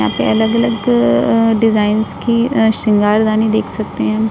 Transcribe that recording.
यहां पे अलग अलग अ अ डिज़ाइंस की अ शृंगारदानी देख सकते है।